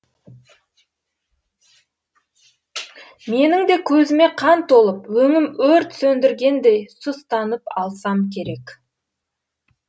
менің де көзіме қан толып өңім өрт сөндіргендей сұстанып алсам керек